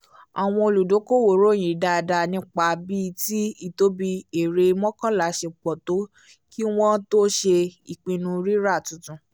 àwọn olùdokoowo ròyìn dáadáa nípa bíi tí ìtóbi èrè mọ́kànlá ṣe pọ̀ tó kí wọ́n tó ṣe ìpinnu rírà tuntun